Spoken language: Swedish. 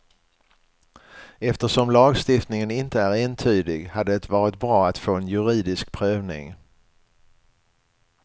Eftersom lagstiftningen inte är entydig, hade det varit bra att få en juridisk prövning.